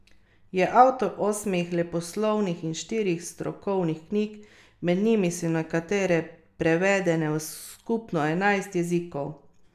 Je avtor osmih leposlovnih in štirih strokovnih knjig, med njimi so nekatere prevedene v skupno enajst jezikov.